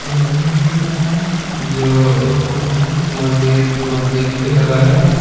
जो महजिद महजिद के तरह है।